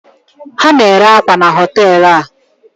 ha na-ere akwa na hotel a